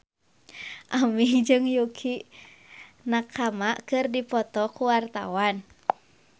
Aming jeung Yukie Nakama keur dipoto ku wartawan